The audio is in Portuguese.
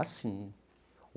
Ah, sim.